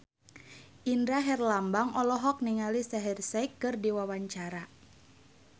Indra Herlambang olohok ningali Shaheer Sheikh keur diwawancara